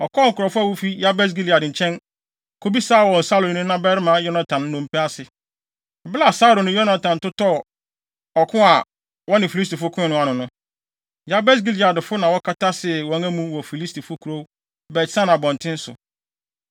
ɔkɔɔ nkurɔfo a wofi Yabes Gilead nkyɛn, kobisaa wɔn Saulo ne ne babarima Yonatan nnompe ase. (Bere a Saulo ne Yonatan totɔɔ ɔko a wɔne Filistifo koe no ano no, Yabes Gileadfo na wɔkɔtasee wɔn amu wɔ Filistifo kurow Bet-San abɔnten so.)